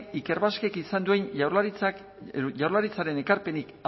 ikerbasquek izan duen jaurlaritzaren ekarpenik